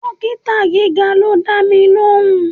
Dókítà gíga ló dámi lóhùn.